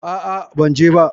A'a, ban je ba.